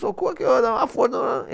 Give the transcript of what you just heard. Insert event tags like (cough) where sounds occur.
Socorro! (unintelligible)